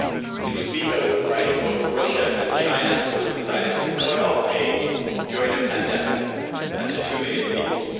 It was vetoed by both Russia and China who have decided to cut off aid during a pandemic to two million people.